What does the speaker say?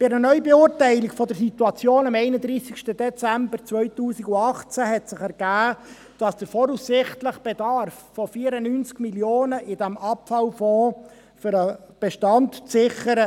Bei einer Neubeurteilung der Situation am 31. Dezember 2018 ergab sich, dass der voraussichtliche Bedarf von 94 Mio. Franken in diesem Abfallfonds nicht reicht, um den Bestand zu sichern.